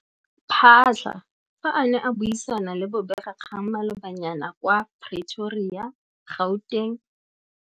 Phaahla fa a ne a buisana le bobegakgang malobanyana kwa Pretoria, Gauteng.